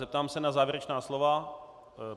Zeptám se na závěrečná slova.